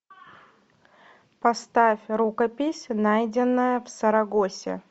поставь рукопись найденная в сарагосе